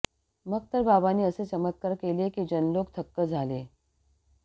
मग तर बाबांनी असे चमत्कार् केले की जनलोक थक्क झाले